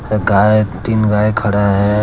गाय तीन गाय खड़ा है।